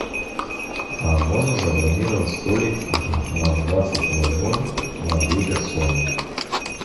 можно забронировать столик на двадцать ноль ноль на две персоны